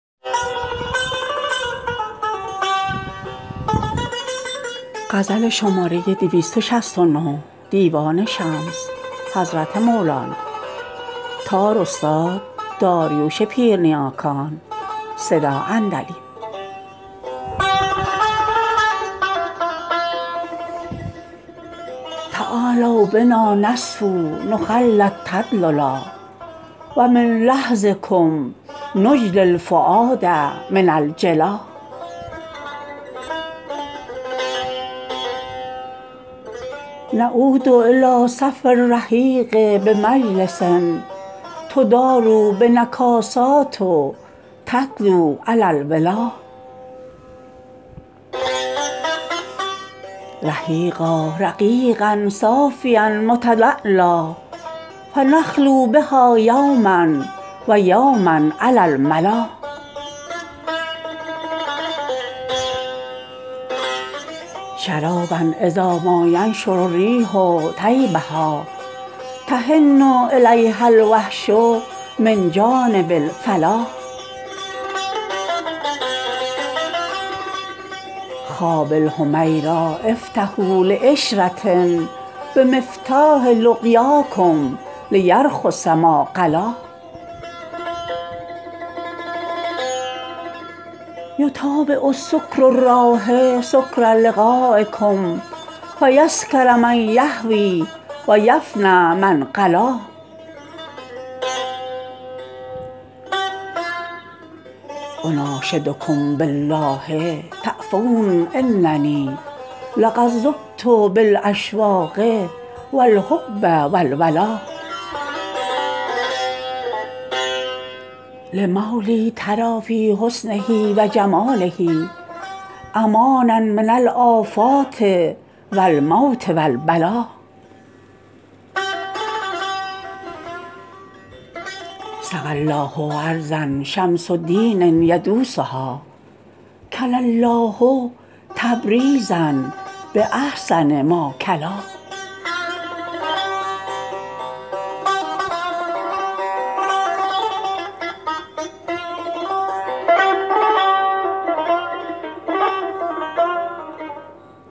تعالوا بنا نصفوا نخلی التدللا و من لحظکم نجلی الفؤاد من الجلا نعود الی صفو الرحیق بمجلس تدور بنا الکاسات تتلو علی الولا رحیقا رقیقا صافیا متلالیا فنخلوا بها یوما و یوما علی الملا شرابا اذا ما ینشر الریح طیبها تحن الیها الوحش من جانب الفلا خوابی الحمیرا افتحوها لعشره بمفتاح لقیاکم لیرخص ما غلا یتابع سکر الراح سکر لقایکم فیسکر من یهوی و یفنی من قلا انا شدکم بالله تعفون اننی لقد ذبت بالاشواق و الحب و الولا لمولا تری فی حسنه و جماله امانا من الافات و الموت و البلا سقی الله ارضا شمس دین یدوسها کلا الله تبریزا باحسن ما کلا